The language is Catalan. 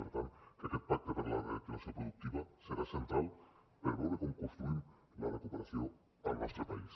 per tant que aquest pacte per la reactivació productiva serà central per veure com construïm la recuperació al nostre país